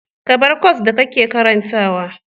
Ka bar kwas da kake karantawa.